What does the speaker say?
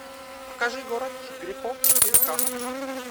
покажи город грехов четыре ка